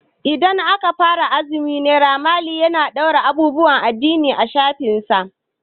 Idan aka fara azumi Naira mali zai fara ɗaura abubuwan addini a shafinsa.